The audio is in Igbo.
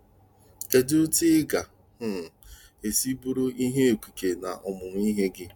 Kedu etu ị ga - um esi bụrụ ihe okike na ọmụmụ ihe gị?